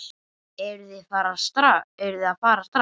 Eruð þið að fara strax?